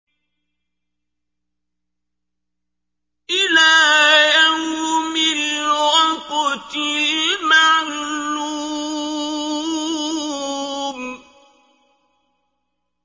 إِلَىٰ يَوْمِ الْوَقْتِ الْمَعْلُومِ